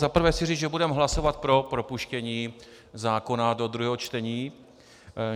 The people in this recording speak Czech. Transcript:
Za prvé chci říct, že budeme hlasovat pro propuštění zákona do druhého čtení.